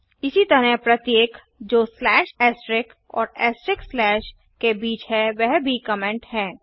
इसी तरह प्रत्येक जो स्लैश एस्ट्रिक्स और एस्ट्रिक्स स्लैश के बीच है वह भी कमेन्ट है